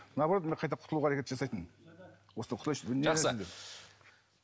наоборот мен қайта құтылуға әрекет жасайтынмын осыдан құтылайыншы жақсы